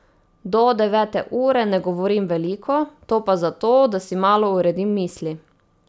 Do devete ure ne govorim veliko, to pa zato, da si malo uredim misli.